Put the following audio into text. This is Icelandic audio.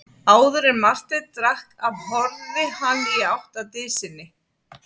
Áður en Marteinn drakk af horfði hann í átt að dysinni.